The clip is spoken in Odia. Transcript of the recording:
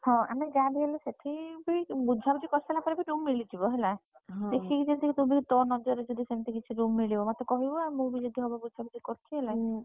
ହଁ ଆମେ ଯାହାବି ହେଲେ ସେଠି ବି ବୁଝାବୁଝି କରିସାରିଲା ପରେ ବି room ମିଳିଯିବ ହେଲା।